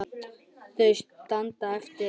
Þau standa eftir ein.